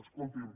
escolti’m